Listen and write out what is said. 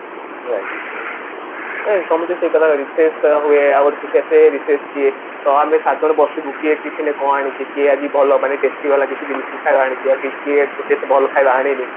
right ଏ ତମେ ଯୋଉ ସେଇ କଥା Raise କରା ହୁଏ ତ ଆମେ ସାତଜଣ ବସିବୁ କିଏ tiffin ରେ କଣ ଆଣିଛି କିଏ ଆଜି ଭଲ testy ବାଲା ଜିନିଷ କି ଖାଇବା ଆଣିଛି ଭଲ ଖାଇବା ଆଣେନି